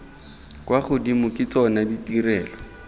kwa godimo ke tsona ditirelo